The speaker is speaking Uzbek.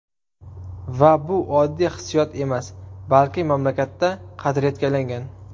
Va bu oddiy hissiyot emas, balki mamlakatda qadriyatga aylangan.